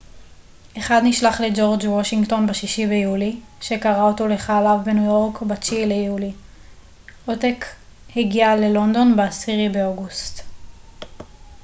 אחד נשלח לג'ורג' וושינגטון ב-6 ביולי שקרא אותו לחייליו בניו יורק ב-9 ביולי עותק הגיע ללונדון ב-10 באוגוסט